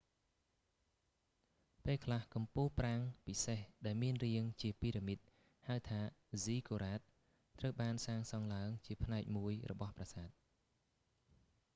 ពេល​ខ្លះ​ ​កំពូលប្រាង្គ​ពិសេសដែល​មាន​រាង​ជាពីរ៉ាមីត​ ហៅថា​ ហ្សីហ្គូរ៉ាត ziggurats​ត្រូវ​បាន​សាង​សង់​ឡើង​ជា​ផ្នែក​មួយ​របស់​ប្រាសាទ​។​